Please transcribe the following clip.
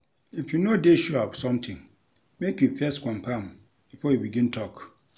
If you no dey sure of somtin make you first confirm before you begin tok.